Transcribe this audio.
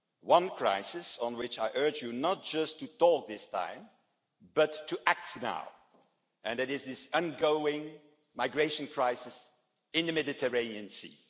one crisis, which I urge you not just to talk about this time, but to act on now, and it is this ongoing migration crisis in the Mediterranean Sea.